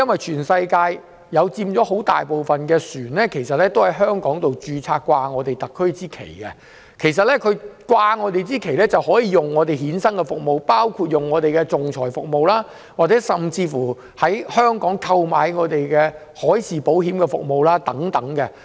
全世界很大部分的船隻在香港註冊，掛上特區的旗幟，而掛上特區的旗幟的船隻便能使用我們衍生的服務，包括仲裁服務，甚至在香港購買海事保險等。